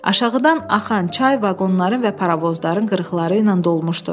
Aşağıdan axan çay vaqonları və paravozların qırıqları ilə dolmuşdu.